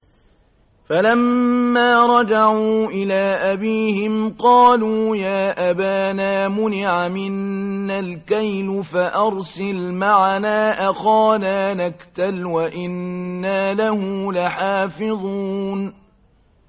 فَلَمَّا رَجَعُوا إِلَىٰ أَبِيهِمْ قَالُوا يَا أَبَانَا مُنِعَ مِنَّا الْكَيْلُ فَأَرْسِلْ مَعَنَا أَخَانَا نَكْتَلْ وَإِنَّا لَهُ لَحَافِظُونَ